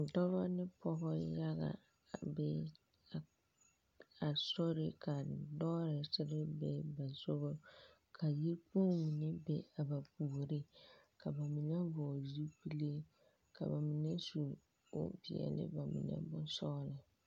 Dͻbͻ ne pͻgebͻ yaga a be a a sori ka lͻͻresere be ba sogͻŋ ka yikpoŋ meŋ be a ba puoriŋ ka ba mine vͻgele zupile, ka ba mine su bompeԑle ba mine bonsͻgelͻ.